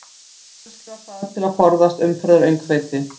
Kannski var það til að forðast umferðaröngþveiti?